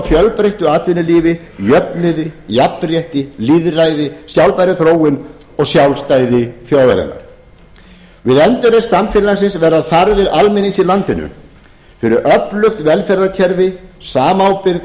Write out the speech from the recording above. fjölbreyttu atvinnulífi jöfnuði jafnrétti lýðræði sjálfbærri þróun og sjálfstæði þjóðarinnar við endurreisn samfélagsins verða þarfir almennings í landinu fyrir öflugt velferðarkerfi samábyrgð